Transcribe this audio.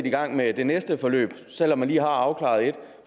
i gang med det næste forløb selv om man lige har afklaret